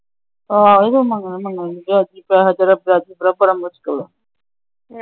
ਆ ਉਹ ਤਾਂ ਮੰਗਣੇ ਮੰਗਣੇ ਨੇ ।